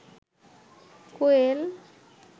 কোয়েল